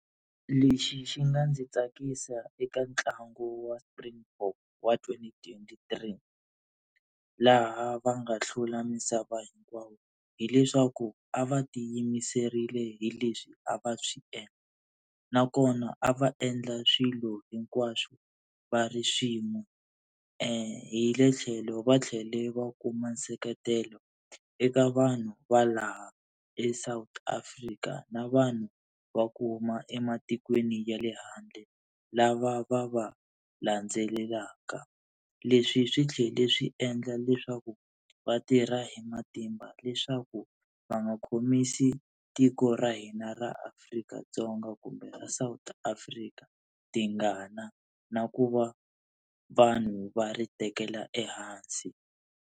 Lexi xi nga ndzi tsakisa eka ntlangu wa Springbok wa twenty twenty three laha va nga hlula misava hinkwayo, hileswaku a va ti yimiserile hi leswi a va swi endla nakona a va endla swilo hinkwaswo va ri swin'we, hi le tlhelo va tlhele va kuma nseketelo eka vanhu va laha eSouth Africa na vanhu va ku huma ematikweni ya le handle lava va va landzelelaka. Leswi swi tlhela swi endla leswaku vatirha hi matimba leswaku va nga khomisi tiko ra hina ra Afrika-Dzonga kumbe ra South Africa tingana na ku va vanhu va ri tekela ehansi.